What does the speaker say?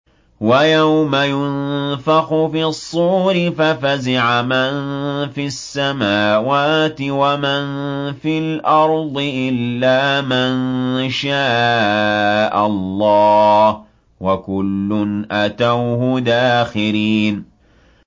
وَيَوْمَ يُنفَخُ فِي الصُّورِ فَفَزِعَ مَن فِي السَّمَاوَاتِ وَمَن فِي الْأَرْضِ إِلَّا مَن شَاءَ اللَّهُ ۚ وَكُلٌّ أَتَوْهُ دَاخِرِينَ